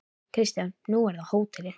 Kristján: Nú er það hótelið?